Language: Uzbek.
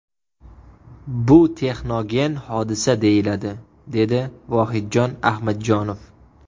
Bu texnogen hodisa deyiladi”, dedi Vohidjon Ahmadjonov.